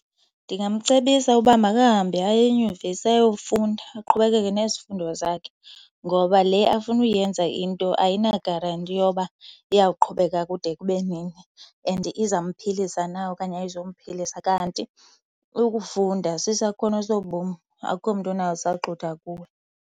Ndingamcebisa uba makahambe aye enyuvesi ayofunda, aqhubekeke nezifundo zakhe ngoba le afuna uyenza into ayina-guarantee yoba iya kuqhubeka kude kube nini and izamphilisa na okanye ayizumphilisa. Kanti ukufunda sisakhono sobomi. Akukho mntu unawusaxutha kuwe.